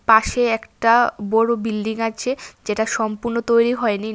পাশে একটা বড় বিল্ডিং আছে যেটা সম্পূর্ণ তৈরি হয়নি।